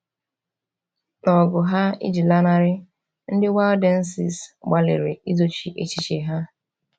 N’ọgụ ha iji lanarị, ndị Waldenses gbalịrị izochi echiche ha.